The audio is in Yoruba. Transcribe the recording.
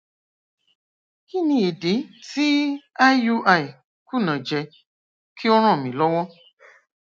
kí ni idi ti iui kunajẹ ki o ran mi lọwọ